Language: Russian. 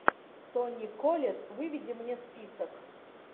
тони коллетт выведи мне список